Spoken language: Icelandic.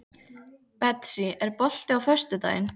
Betsý, er bolti á föstudaginn?